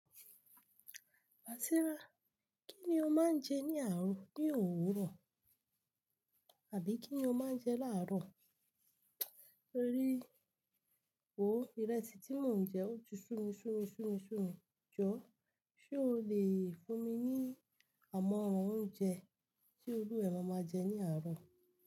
Basira, kí ni o máa ń jẹ ní àárọ̀ ní òwúrọ̀? Àbí kí ni o máa ń jẹ láàárọ̀? Ori wo, ìrẹsì tí mò ń jẹ ó ti súmi súmi súmi. Jọ ṣe o lè fún mi ní àmọran oúnjẹ tí olúwa ẹ mama jẹ ní àárọ̀?